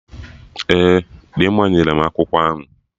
Ee, Dimma nyere m akwụkwọ ahụ